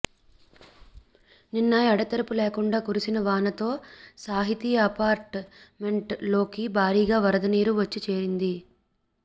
నిన్న ఎడతెరిపిలేకుండా కురిసిన వానతో సాహితి అపార్ట్ మెంట్ లోకి భారీగా వరద నీరు వచ్చి చేరింది